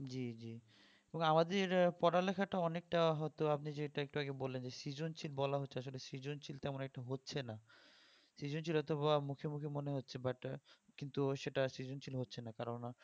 জি জি তবে আমাদের পড়া লেখাটা অনেকটা হয়তো আপনি যেটা একটু আগে বললেন যে সৃজনশীল বলা হচ্ছে আসলে সৃজনশীল তেমন একটা হচ্ছে না সৃজনশীলতা মুখে মুখে মনে হচ্ছে but সেটা কিন্তু সৃজনশীল হচ্ছে না কেননা